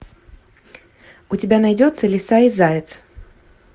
у тебя найдется лиса и заяц